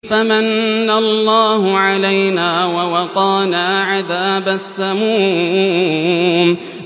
فَمَنَّ اللَّهُ عَلَيْنَا وَوَقَانَا عَذَابَ السَّمُومِ